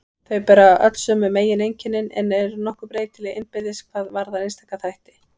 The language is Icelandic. Þau bera öll sömu megineinkennin en eru nokkuð breytileg innbyrðis hvað varðar einstaka þætti.